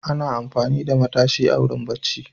Ana amfani da matashi a wurin bacci.